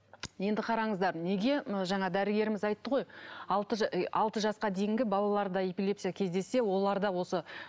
енді қараңыздар неге мына жаңа дәрігеріміз айтты ғой алты ы алты жасқа дейінгі балаларда эпилепсия кездессе оларда осы